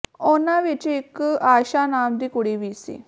ਉਨ੍ਹਾਂ ਵਿਚ ਇਕ ਆਯਸ਼ਾ ਨਾਮ ਦੀ ਕੁੜੀ ਵੀ ਸੀ